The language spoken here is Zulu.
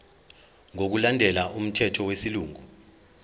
ngokulandela umthetho wesilungu